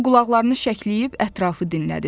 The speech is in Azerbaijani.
O qulaqlarını şəkləyib ətrafı dinlədi.